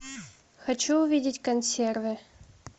хочу увидеть консервы